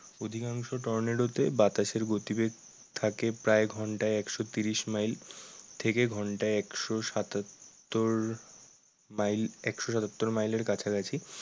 অধিকাংশ টর্নেডোতে বাতাসের গতিবেগ থাকে প্রায় ঘন্টায় একশো ত্রিশ মাইল থেকে ঘন্টায় একশো সাতাত্তর মাইল একশো সাতাত্তর মাইলের কাছাকাছি।